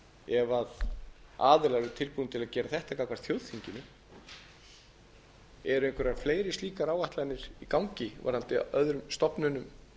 ef aðilar eru tilbúnir til að gera þetta gagnvart þjóðþinginu eru einhverjar fleiri slíkar áætlanir í gangi gagnvart öðrum stofnunum